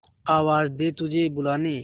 आवाज दे तुझे बुलाने